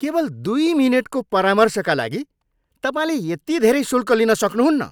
केवल दुई मिनेटको परामर्शका लागि तपाईँले यति धेरै शुल्क लिन सक्नुहुन्न!